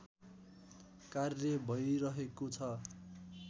कार्य भैरहेको छ